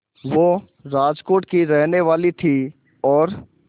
वो राजकोट की ही रहने वाली थीं और